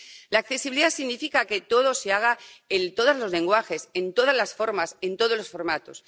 La accesibilidad significa que todo se haga en todos los lenguajes, en todas las formas, en todos los formatos.